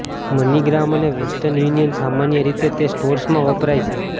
MoneyGram અને Western Union સામાન્ય રીતે તે સ્ટોર્સમાં વપરાય છે